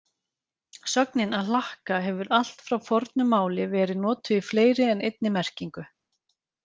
Sögnin að hlakka hefur allt frá fornu máli verið notuð í fleiri en einni merkingu.